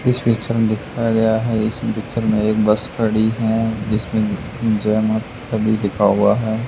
इस पिक्चर में दिखाया गया है इस पिक्चर में एक बस खड़ी है जिसमें इंजन और सभी लिखा हुआ है।